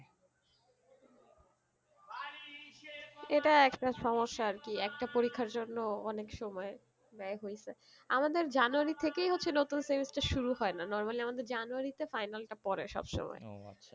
এটা একটা সমস্যা আর কি একটা পরীক্ষার জন্য অনেক সময় ব্যায় হইছে, আমাদের January থেকেই হচ্ছে নতুন semester শুরু হয়ে না normally আমাদের January তে final টা পরে সব সময়